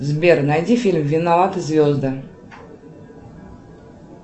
сбер найди фильм виноваты звезды